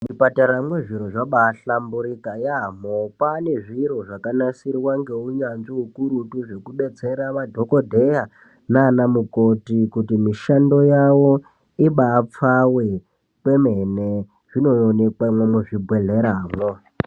Muzvipataramwo zviro zvabaahlamburuka yaamho kwane zviro zvakagadzirwa ngeunyanzvi ukurutu zvekudetsera madhokodheya nana mukoti kuti mishando yawo ibaapfawe kwemene zvinoonekwamwo muzvibhedhleramwo.